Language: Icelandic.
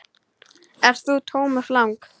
Ert þú Thomas Lang?